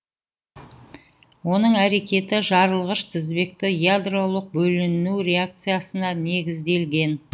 оның әрекеті жарылғыш тізбекті ядролық бөлінуі реакциясына негізделген